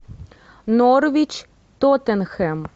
норвич тоттенхэм